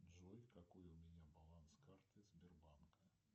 джой какой у меня баланс карты сбербанк